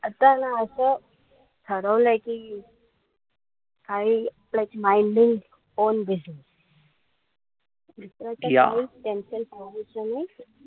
आताय ना असं ठरवलंय कि काई minding own business